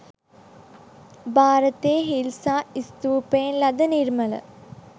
භාරතයේ හිල්සා ස්තූපයෙන් ලද නිර්මල